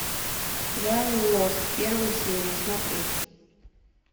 сериал лост первую серию смотреть